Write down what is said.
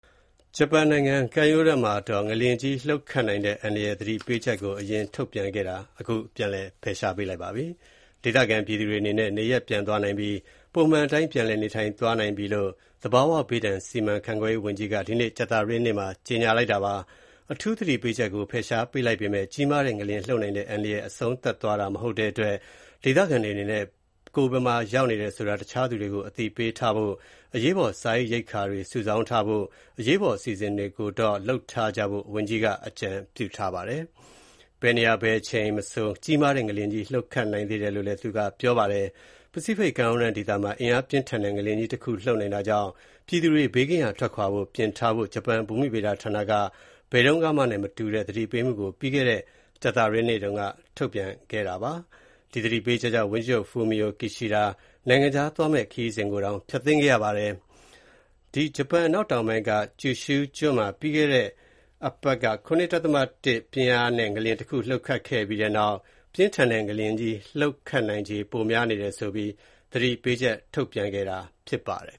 ဂျပန်နိုင်ငံကမ်းရိုးတမ်းဒေသမှာ ငလျင်ကြီး လှုပ်ခတ်နိုင်တဲ့ အန္တရာယ်သတိပေးချက်ကို ပြန်လည်ဖယ်ရှားပေးလိုက်ပါပြီ။ ဒေသခံပြည်သူတွေအနေနဲ့ နေရပ်ပြန်သွားနိုင်ပြီး ပုံမှန်အတိုင်း ပြန်လည်နေထိုင် သွားလာနိုင်ပြီလို့ သဘာဝဘေးဒဏ် စီမံခန့်ခွဲရေးဝန်ကြီးက ဒီနေ့ကြာသပတေးနေ့မှာ ကြေညာပါတယ်။ အထူးသတိပေးချက်ကို ဖယ်ရှားပေးလိုက်ပေမဲ့ ကြီးမားတဲ့ငလျင်လှုပ်နိုင်တဲ့ အန္တရာယ်အဆုံးသပ်သွားတာမဟုတ်တဲ့အတွက် ဒေသခံတွေအနေနဲ့ ကိုယ်ဘယ်မှာရောက်နေတယ်ဆိုတာ တခြားသူတွေကို အသိပေးထားဖို့ အရေးပေါ် စားရေရိက္ခာတွေ စုဆောင်းထားဖို့လို အရေးပေါ် အစီအစဉ်တွေကိုတော့ လုပ်ထားကြဖို့ ဝန်ကြီးက အကြံပေးပါတယ်။ ဘယ်နေရာ ဘယ်အချိန်မဆို ကြီးမားတဲ့ ငလျင်ကြီး လှုပ်ခတ်နိုင်တယ်လို့ သူက ပြောပါတယ်။ ပစိဖိတ်ကမ်းရိုးတမ်းဒေသမှာ အင်အားပြင်းထန်တဲ့ ငလျင်ကြီးတခု လှုပ်နိုင်တာကြောင့် ပြည်သူတွေ ဘေးကင်းရာ ထွက်ခွာဖို့ ပြင်ထားဖို့ ဂျပန်ဘူမိဗေဒဌာနက ဘယ်တုန်းကမှနဲ့ မတူတဲ့ သတိပေးမှုကို ပြီးခဲ့တဲ့ ကြာသပတေးနေ့က ထုတ်ပြန်ခဲ့ပါတယ်။ ဒီသတိပေးချက်ကြောင့် ဝန်ကြီးချုပ် Fumio Kishida နိုင်ငံခြားသွားမယ့် ခရီးစဉ်ကိုတောင် ဖျက်သိမ်းခဲ့တာပါ။ အနောက်တောင်ပိုင်းက Kyushu ကျွန်းမှာ ပြီးခဲ့တဲ့တပတ်က ၇.၁ ပြင်းအားနဲ့ ငလျင်တခု လှုပ်ခတ်ခဲ့ပြီးနောက် ပြင်းထန်တဲ့ငလျင်ကြီး လှုပ်ခတ်နိုင်ချေပိုများနေတယ်ဆိုပြီး သတိပေးချက်ထုတ်ခဲ့တာဖြစ်ပါတယ်